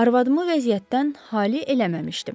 Arvadımı vəziyyətdən hali eləməmişdim.